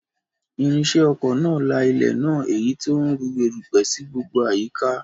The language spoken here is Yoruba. Irinṣẹ́ oko náà la ilẹ̀ náà, èyí tó ń rú erùpẹ̀ sí gbogbo àyíká